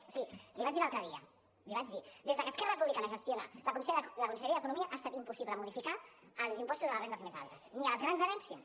o sigui l’hi vaig dir l’altre dia l’hi vaig dir des que esquerra republicana gestiona la conselleria d’economia ha estat impossible modificar els impostos a les rendes més altes ni a les grans herències